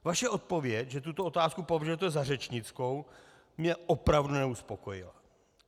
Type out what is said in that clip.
Vaše odpověď, že tuto otázku považujete za řečnickou, mě opravdu neuspokojuje.